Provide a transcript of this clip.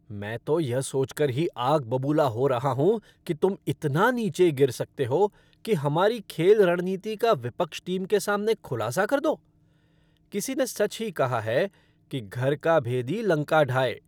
मैं तो यह सोच कर ही आग बबूला हो रहा हूँ की तुम इतना नीचे गिर सकते हो कि हमारी खेल रणनीति का विपक्ष टीम के सामने खुलासा कर दो। किसी ने सच ही कहा है कि घर का भेदी लंका ढाए।